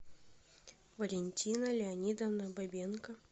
валентина леонидовна бабенко